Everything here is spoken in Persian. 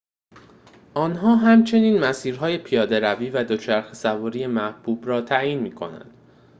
آنها همچنین مسیر‌های پیاده‌روی و دوچرخه سواری محبوب را تعیین می کنند